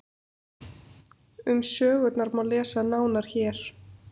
um sögurnar má lesa nánar hér